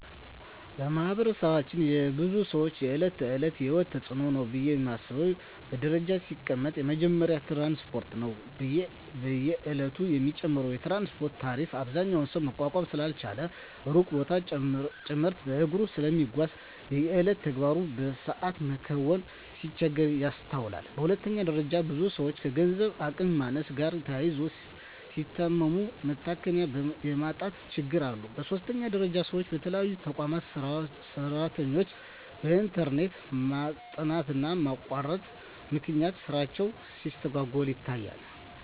በማህበረሰባችን የብዙ ሰወች የእለት ተእለት የሂወት ተጽኖ ነው ብየ ማስበው በደረጃ ሲቀመጥ የመጀመሪያው ትራንስፓርት ነው። በየእለቱ የሚጨምረው የትራንስፓርት ታሪፍ አብዛኛው ሰው መቋቋም ስላልቻለ ሩቅ ቦታወችን ጭምርት በእግሩ ስለሚጓዝ የየእለት ተግባሩን በሰአት መከወን ሲቸገር ይስተዋላል። በሁለተኛ ደረጃ ብዙ ሰወች ከገንዘብ አቅም ማነስ ጋር ተያይዞ ሲታመሙ መታከሚያ የማጣት ችግሮች አሉ። በሶስተኛ ደረጃ ሰወች በተለይ የተቋማት ሰራተኞች በእንተርኔት ማጣትና መቆራረጥ ምክንያት ስራቸው ሲስተጓጎል ይታያል።